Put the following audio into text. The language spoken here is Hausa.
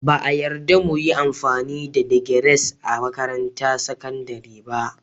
Ba a yarda mu yi amfani da digers a makarantar sakandare ba